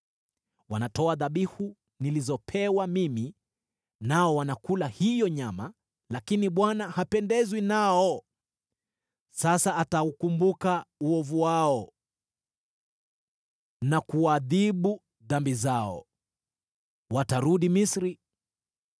Wanatoa dhabihu nilizopewa mimi nao wanakula hiyo nyama, lakini Bwana hapendezwi nao. Sasa ataukumbuka uovu wao na kuadhibu dhambi zao: Watarudi Misri.